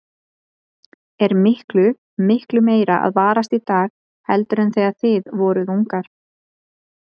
Er miklu, miklu meira að varast í dag heldur en þegar þið voruð ungar?